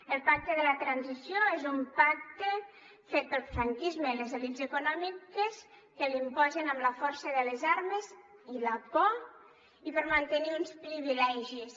el pacte de la transició és un pacte fet pel franquisme i les elits econòmiques que l’imposen amb la força de les armes i la por i per mantenir uns privilegis